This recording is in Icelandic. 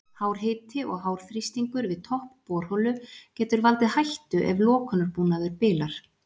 Hár hiti og hár þrýstingur við topp borholu getur valdið hættu ef lokunarbúnaður bilar.